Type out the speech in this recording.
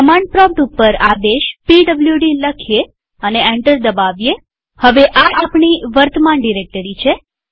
command prompt ઉપર આદેશ PWD લખીએ અને એન્ટર દબાવીએહવે આ આપણી વર્તમાન ડિરેક્ટરી છે